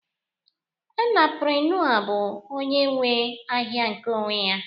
Entaprenua bụ onye nwe ahịa nke onwe ya